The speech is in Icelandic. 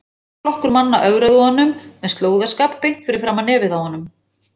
Heill flokkur manna ögraði honum með slóðaskap beint fyrir framan nefið á honum!